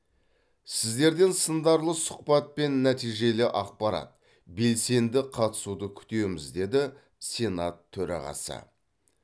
сіздерден сындарлы сұхбат пен нәтижелі ақпарат белсенді қатысуды күтеміз деді сенат төрағасы